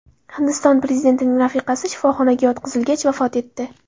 Hindiston prezidentining rafiqasi shifoxonaga yotqizilgach, vafot etdi.